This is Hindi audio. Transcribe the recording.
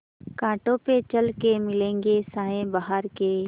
कांटों पे चल के मिलेंगे साये बहार के